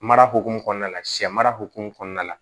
Mara hokumu kɔnɔna la sɛ mara hokumu kɔnɔna la